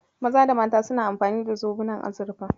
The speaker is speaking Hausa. Maza da mata suna amfani da zobunan azurfa.